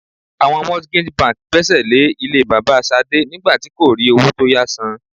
Àwọn mortgage bank gbésè lè ilé bàbà Ṣadé nígbà tí kò rí owó tó yá san.